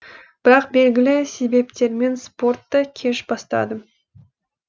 бірақ белгілі себептермен спортты кеш бастадым